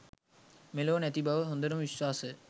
මෙලොව නැති බව හොඳටම විශ්වාසය.